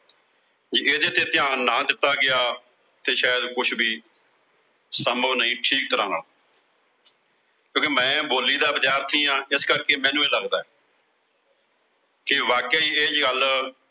ਜੇ ਇਹਦੇ ਤੇ ਧਿਆਨ ਨਾ ਦਿੱਤਾ ਗਿਆ ਤੇ ਸ਼ਾਇਦ ਕੁਝ ਵੀ ਸੰਭਵ ਨਹੀਂ ਠੀਕ ਤਰ੍ਹਾਂ ਨਾਲ ਕਿਉਂ ਕਿ ਮੈਂ ਬੋਲੀ ਦਾ ਵਿਦਿਆਰਥੀ ਆਂ, ਇਸ ਕਰਕੇ ਮੈਨੂੰ ਇਹ ਲਗਦਾ ਕਿ ਵਾਕਿਆ ਈ ਇਹ ਗੱਲ